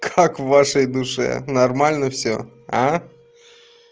как в вашей душе нормально всё а